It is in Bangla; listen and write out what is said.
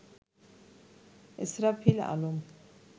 ইসরাফিল আলম